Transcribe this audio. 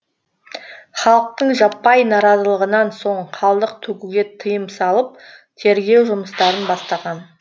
халықтың жаппай наразылығынан соң қалдық төгуге тыйым салып тергеу жұмыстарын бастаған